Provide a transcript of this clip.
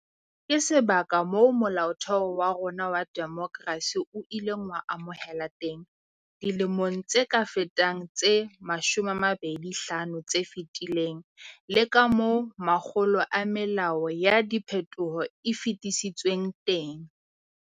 Ke sebaka moo Molaotheo wa rona wa demokerasi o ileng wa amohelwa teng dilemong tse ka fetang tse 25 tse fetileng, le moo makgolo a melao ya diphethoho e fetisitsweng teng.